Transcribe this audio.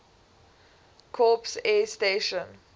corps air station